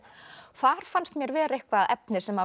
þar fannst mér vera eitthvað efni sem